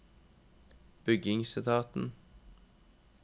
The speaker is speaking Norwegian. bygningsetaten